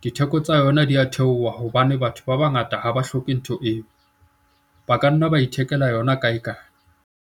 ditheko tsa yona di a theoha hobane batho ba bangata ha ba hloke ntho eo, ba ka nna ba ithekela yona kaekae.